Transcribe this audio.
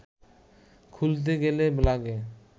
খুলতে গেলে লাগে